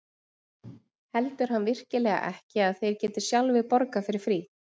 Heldur hann virkilega ekki að þeir geti sjálfir borgað fyrir frí?